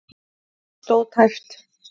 Stóð tæpt